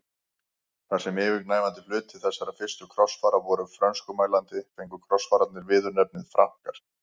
Þar sem yfirgnæfandi hluti þessara fyrstu krossfara voru frönskumælandi fengu krossfararnir viðurnefnið Frankar.